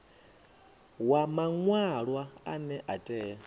wa maṅwalwa ane a tea